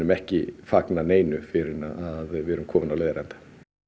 ekki fagna neinu fyrr en að við erum komin á leiðarenda